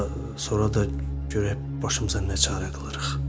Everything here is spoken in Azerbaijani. Sonra, sonra da görək başımıza nə çarə qılırıq.